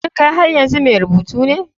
Shin kai har yanzu mai rubutu ne?